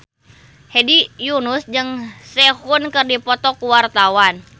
Hedi Yunus jeung Sehun keur dipoto ku wartawan